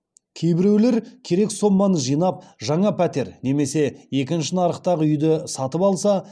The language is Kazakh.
кейбіреулер керек соманы жинап жаңа пәтер немесе екінші нарықтағы үйді сатып алса